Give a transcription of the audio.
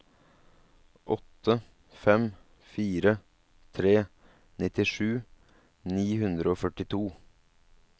åtte fem fire tre nittisju ni hundre og førtito